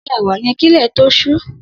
Sé ẹ̀wà yèn kilẹ tó ṣù